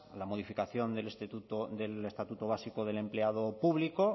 la modificación del estatuto básico empleado público